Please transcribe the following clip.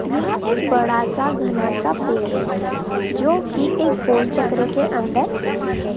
यह एक बड़ा सा घना सा पेड है जोकि एक गोलचक्र के अंदर है।